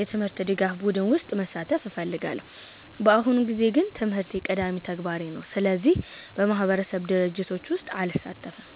የትምህርት ድጋፍ ቡድን ውስጥ መሳተፍ እፈልጋለሁ። በአሁኑ ጊዜ ግን ትምህርቴ ቀዳሚ ተግባሬ ነው፣ ስለዚህ በማህበረሰብ ድርጅቶች ውስጥ አልሳተፍም።